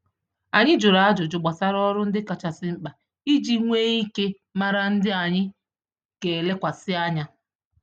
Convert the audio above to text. Anyị jụrụ ajụjụ gbásárá ọrụ ndị kachasị mkpa, iji nwe ike màrà ndị anyị gelekwasị ányá